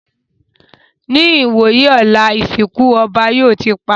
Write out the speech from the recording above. Ní ìwòyí ọ̀la, ìsìnkú ọba yóò ti parí